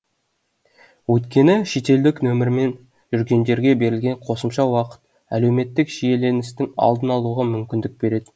өйткені шетелдік нөмірмен жүргендерге берілген қосымша уақыт әлеуметтік шиеленістің алдын алуға мүмкіндік береді